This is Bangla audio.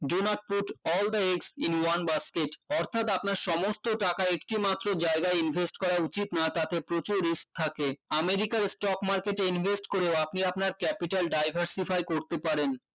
do not put all the eggs in one basket অর্থাৎ আপনার সমস্ত টাকা একটি মাত্র জায়গায় invest করা উচিত না তাতে প্রচুর risk থাকে আমেরিকার stock market এ invest করেও আপনি আপনার capital diversify করতে পারেন